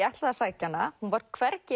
ætlaði að sækja hana hún var hvergi